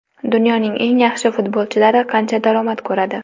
Dunyoning eng yaxshi futbolchilari qancha daromad ko‘radi?.